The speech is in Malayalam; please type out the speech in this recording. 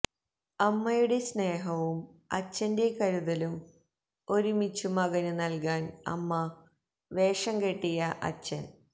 അമ്മയുടെ സ്നേഹവും അച്ഛന്റെ കരുതലും ഒരുമിച്ചു മകന് നൽകാൻ അമ്മ വേഷം കെട്ടിയ അച്ഛൻ